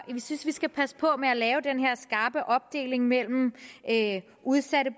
synes vi skal passe på med at lave den her skarpe opdeling mellem udsatte